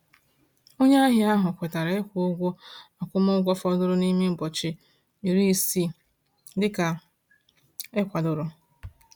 Onye ahịa ahụ kwetara ịkwụ ụgwọ akwụmụgwọ fọdụrụ n’ime ụbọchị iri isii dịka e kwadoro.